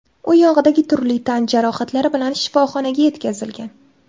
U oyog‘idagi turli tan jarohatlari bilan shifoxonaga yetkazilgan.